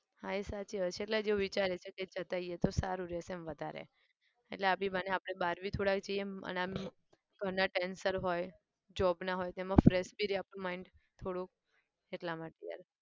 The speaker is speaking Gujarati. હા એ સાચી વાત છે એટલે એવું વિચારીએ છે કે જતા આવીએ તો સારું રહશે એમ વધારે એટલે આ બી બાને આપણે બાર બી થોડા જઈએ એમ અને આમ ઘરના tension હોય, job ના હોય તેમાં fresh બી રે આપણું mind થોડુંક એટલા માટે યાર.